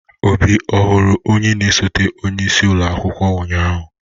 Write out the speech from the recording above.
Obi ọhụrụ onye na esote onye isi ụlọ akwụkwọ unyanya?